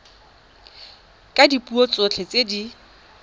ka dipuo tsotlhe tse di